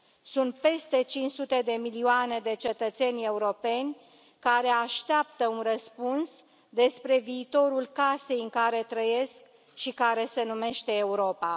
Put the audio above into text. Sunt peste cinci sute de milioane de cetățeni europeni care așteaptă un răspuns despre viitorul casei în care trăiesc și care se numește Europa.